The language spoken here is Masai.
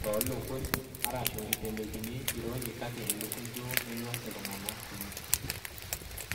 toolukuny, arashu itelekini ironyi kake ilukuny duo enyor iltung'anak kumok.